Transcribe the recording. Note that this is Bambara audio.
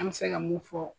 An bɛ se ka mun fɔ